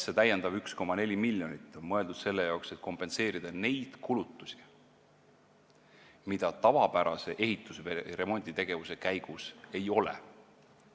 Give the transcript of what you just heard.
See täiendav 1,4 miljonit on mõeldud selle jaoks, et kompenseerida neid kulutusi, mida tavapärase ehitus- või remonditegevuse käigus ei teki.